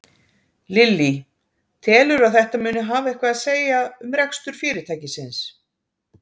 Lillý: Telurðu að þetta muni hafa eitthvað að segja um rekstur fyrirtækisins?